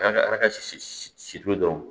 A ka a ka si si to dɔrɔn